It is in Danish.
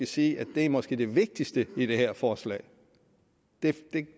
sige at det måske er det vigtigste i det her forslag det